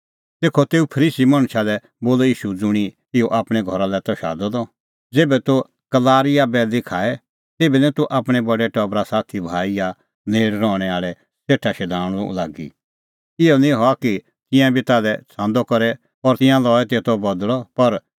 तेखअ तेऊ फरीसी मणछा लै बोलअ ईशू ज़ुंणी ईशू आपणैं घरा लै त शादअ द ज़ेभै तूह कलारी या बैल़ी खाए तेभै निं तूह आपणैं बडै टबरा साथी भाई या नेल़ रहणैं आल़ै सेठा शधाणूं लागी इहअ निं हआ कि तिंयां बी ताल्है छ़ांदअ करे और तिंयां लऐ तेतो बदल़अ